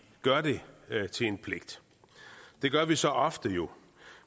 gør det til en pligt det gør vi så ofte jo